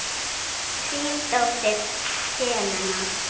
Þín dóttir, Helena.